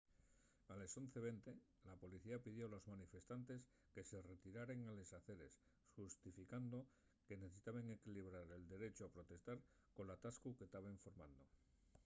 a les 11:20 la policía pidió a los manifestantes que se retiraren a les aceres xustificando que necesitaben equilibrar el derechu a protestar col atascu que taben formando